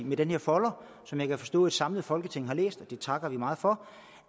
med den her folder som jeg kan forstå et samlet folketing har læst og det takker vi meget for